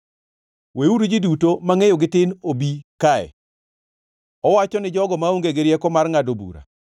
“Weuru ji duto mangʼeyogi tin obi kae!” Owacho ni jogo maonge gi rieko mar ngʼado bura.